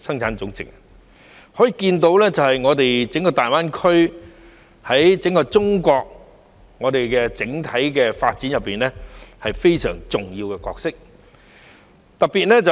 由此可見，大灣區在整個中國的整體發展中扮演非常重要的角色。